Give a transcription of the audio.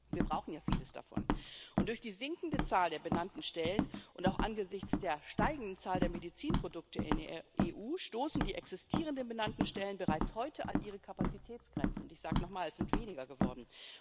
Wir brauchen ja vieles davon Und durch die sinkende Zahl der benannten Stellen und auch angesichts der steigenden Zahl der Medizinprodukte in der EU stoßen die existierenden benannten Stellen bereits heute an ihre Kapazitätsgrenzen ich sage es nochmal Es sind weniger geworden.